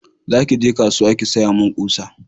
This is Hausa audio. za ki je kasuwa ki saya min ƙusa!